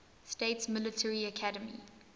states military academy